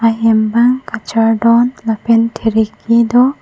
hem bang kachardon lapen kheriki do.